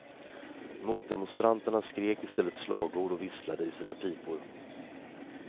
Motdemonstranterna skrek istället slagord och visslade i sina pipor.